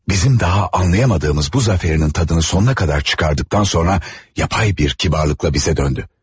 Bizim daha anlaya bilmədiyimiz bu zəfərinin dadını sonuna qədər çıxardıqdan sonra, süni bir kibarlıqla bizə döndü.